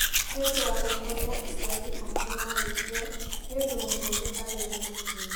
Nĩ ũndũ wa gũkorũo aciari ake marĩ kuo, nĩ ũndũ mũhũthũ harĩ we gũthiĩ.